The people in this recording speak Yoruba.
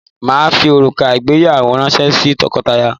Màá fi òrùka ìgbéyàwó ránṣẹ́ sí tọkọtìyàwó